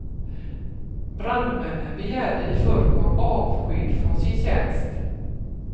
Brandmännen begärde i förrgår avsked från sin tjänst.